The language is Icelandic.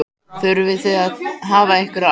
Þurfið þið að hafa einhverjar áhyggjur?